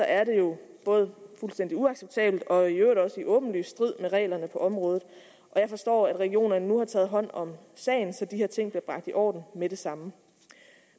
er det jo både fuldstændig uacceptabelt og i øvrigt også i åbenlys strid med reglerne på området jeg forstår at regionerne nu har taget hånd om sagen så de her ting bliver bragt i orden med det samme